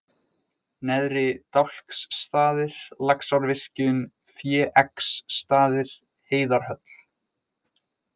Neðri-Dálksstaðir, Laxárvirkjun, Féeggsstaðir, Heiðarhöll